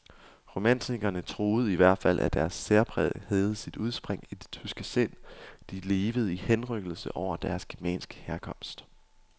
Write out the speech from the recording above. Romantikerne troede i hvert fald, at deres særpræg havde sit udspring i det tyske sind, de levede i henrykkelse over deres germanske herkomst.